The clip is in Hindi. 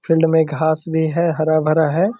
फील्ड मे घास भी है | हरा-भरा है |